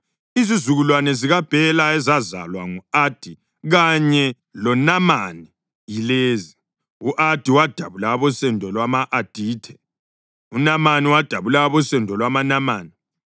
Izizukulwane zikaBhela ezazalwa ngu-Adi kanye loNamani yilezi: u-Adi wadabula abosendo lwama-Adithe; uNamani wadabula abosendo lwamaNamani.